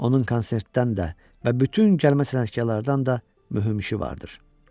Onun konsertdən də və bütün gəlmə sənətkarlardan da mühüm işi vardır.